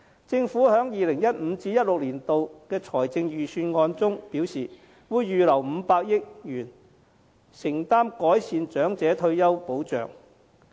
政府在 2015-2016 年度的財政預算案中表示，會預留500億元承擔改善長者退休保障。